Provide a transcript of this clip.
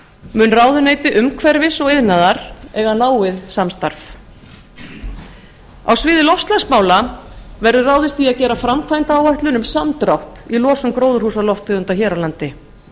mun ráðuneyti umhverfis og iðnaðar eiga náið samstarf á sviði loftslagsmála verður ráðist í að gera framkvæmdaáætlun um samdrátt í losun gróðurhúsalofttegunda hér á landi